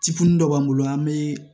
Cifulu dɔ b'an bolo an bɛ